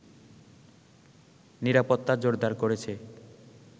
নিরাপত্তা জোরদার করেছে